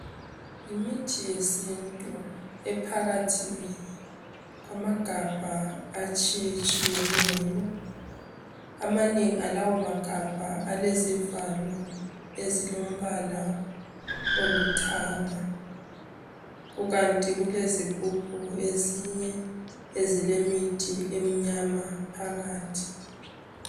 Yimithi yesintu ephakathi kwamagabha atshiyatshiyeneyo, amanengi alawo magabha alezivalo ezilombala oluthanga kukanti kulezigubhu ezinye ezilemithi emnyama phakathi.